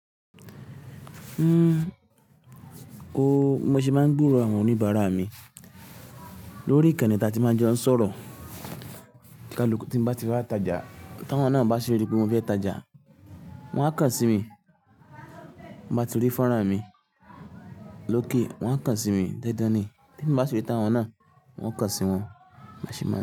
O mo ṣe máa ń gburo àwọn oníbàárà mi lórí ìkànnì tí a ti máa ń jọ ń sọ̀rọ̀. Káluku tí n bá ti wa tájà, tí awọ́n náà bá rí pé won fẹ́ tájà, wọ́n á kàn sí mi. Tan bá tirí fọ́nrán mi lókè, wọ́n á kàn sí mi dandan ni. Tí emi bá ṣiri táwọn náà, wọn o kàn sí wọn. Bimoṣe máa n.